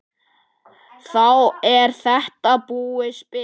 Þá er þetta búið spil.